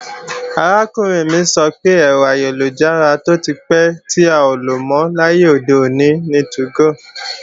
Arákùnrin mi sọ pé, ẹ̀rọ ayélujára tó ti pẹ́ tí a ò lò mọ́ láyé òde òní ni 2go